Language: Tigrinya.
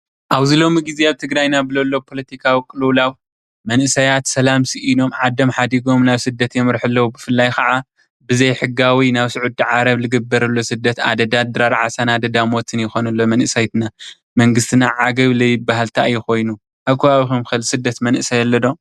ኣብዙ ሎሚ ግዜ ኣብ ትግራይና ብዘሎ ፖለቲካዊ ቕልውላው መንእሰያት ሰላም ሲእኖም ዓዶም ሓዲጎም ናብ ስደት የምርሑ ኣለው። ብፍላይ ከዓ ብዘይ ሕጋዊ ናብ ስዑዲ ዓረብ ዝግበር ዘሎ ስደት ኣደዳ ድራር ዓሳን ኣደዳ ሞትን ይኾን ኣሎ መንእሰይ መንግስትና ዓገብ ዘይባሃል እንታይ እዩ ኮይኑ? ኣብ ከባቢኩም ከ ዝስደድ መንእሰይ ኣሎ ዶ?